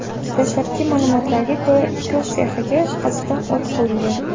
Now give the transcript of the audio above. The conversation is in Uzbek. Dastlabki ma’lumotlarga ko‘ra, tikuv sexiga qasddan o‘t qo‘yilgan.